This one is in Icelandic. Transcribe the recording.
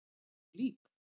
Þau voru lík.